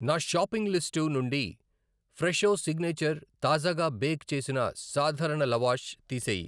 నా shopping list నుండి Fresho signature తాజాగా బేక్ చేసిన సాధారణ లవాష్ తీసేయి.